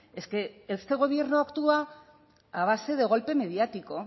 es que este gobierno actúa a base de golpe mediático